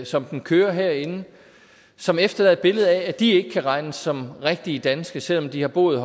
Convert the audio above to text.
som den kører herinde som efterlader et billede af at de ikke kan regnes som rigtige danske selv om de har boet